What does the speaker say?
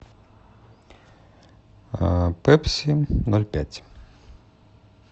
пепси ноль пять